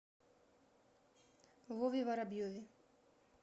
вове воробьеве